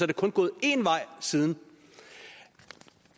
det kun gået en vej siden